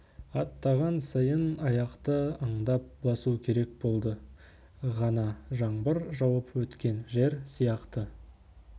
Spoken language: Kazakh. аттаған сайын аяқты аңдап басу керек болды ғана жаңбыр жауып өткен жер сияқты